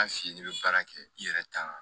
A f'i ye i bɛ baara kɛ i yɛrɛ ta